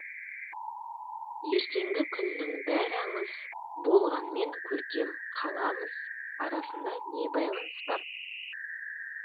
ертеңгі күннің бәрі аңыз болғанмен көркем қаламыз арасында не байланыс бар